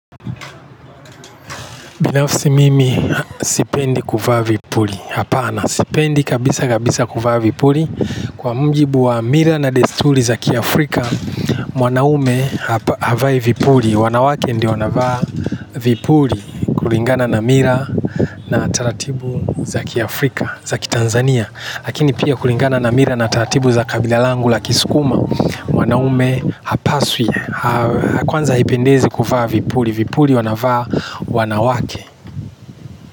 Binafsi mimi sipendi kuvaa vipuli. Hapana, sipendi kabisa kabisa kuvaa vipuli. Kwa mjibu wa mila na desturi zaki Afrika, mwanaume havai vipuli. Wanawake ndio wanavaa vipu li. Kulingana na mira na ataratibu zaki Afrika, za ki Tanzania. Yakini pia kulingana na mila na taratibu ya kibila langu la kisukuma mwanaume hapaswi. Kwanza ipendezi kuvaa vipuli. Vipuli wanavaa wanawake.